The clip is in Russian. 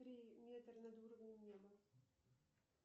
три метра над уровнем неба